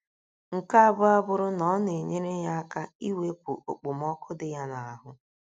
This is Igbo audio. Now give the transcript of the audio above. Nke abụọ abụrụ na ọ na - enyere ya aka iwepụ okpomọkụ dị ya n’ahụ́.